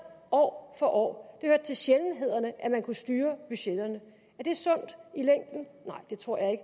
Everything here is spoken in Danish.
år for år det hørte til sjældenhederne at man kunne styre budgetterne er det sundt i længden nej det tror jeg